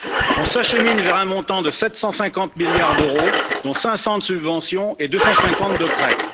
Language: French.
Nous nous acheminons vers un montant de 750 milliards d'euros, dont 500 de subventions et 250 de prêts.